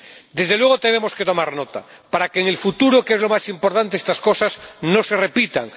Desde luego tenemos que tomar nota para que en el futuro, que es lo más importante, estas cosas no se repitan.